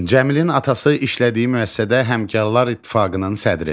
Cəmilin atası işlədiyi müəssisədə Həmkarlar İttifaqının sədridir.